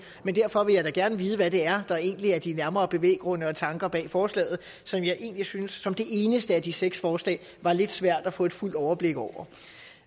men derfor vil jeg da gerne vide hvad det er der egentlig er de nærmere bevæggrunde og tanker bag forslaget som jeg egentlig synes som det eneste af de seks forslag at var lidt svært at få et fuldt overblik over